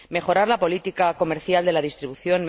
mejorar la política comercial de la distribución